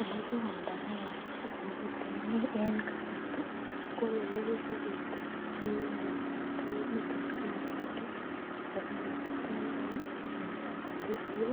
Elekiwalda ken koroi eng kasarta kokit nekitabit ii ko ,mi tukuk chekinyolu kyai ako kiyachei koyai lakwet eng sukul